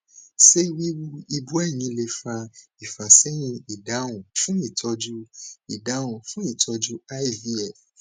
se wiwu ibúẹyin le fa ifaseyin idahun fun itoju idahun fun itoju ivf